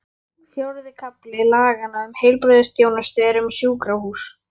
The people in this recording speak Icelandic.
Fjórði kafli laganna um heilbrigðisþjónustu er um sjúkrahús.